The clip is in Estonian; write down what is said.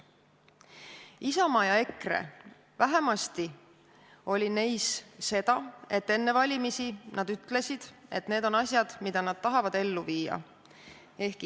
Isamaa ja EKRE vähemasti ütlesid enne valimisi, et need on asjad, mida nad tahavad ellu viia.